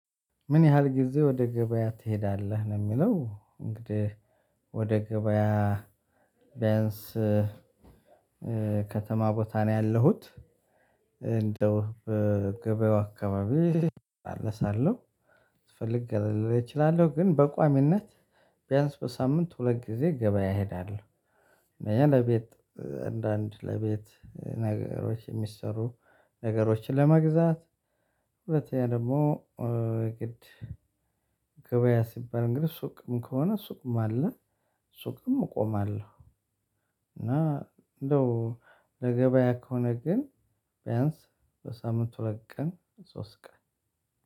ምን ያህል ጊዜ ወደ ገበያ ትሄዳለህ ነው የሚለው? እንግዲህ ወደ ገበያ ቢያንስ ከተማ ቦታ ነው ያለሁት እንደው በገበያው አካባቢ እጣለሳለሁ ስፈልግ ገለል ልል እችላለሁ። ግን በቋሚነት ቢያንስ በሳምንት ሁለት ጊዜ ገበያ እሄዳለው። አንደኛ ለቤት እንደ አንድ ለቤት ነገሮች የሚሰሩ ነገሮችን ለመግዛት። ሁለተኛ ደግሞ ግድ ገበያ ሲባል እንግዲህ ሱቅም ከሆነ ሱቅም አለ ሱቅም እቆማለሁ። እና እንደው ለገበያ ከሆነ ግን ቢያንስ በሳምንት ሁለት ቀን ሶስት ቀን።